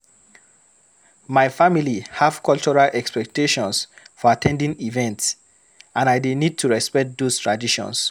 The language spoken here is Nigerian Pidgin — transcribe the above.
My family have cultural expectations for at ten ding events, and I dey need to respect those traditions.